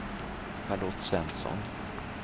Charlotte Svensson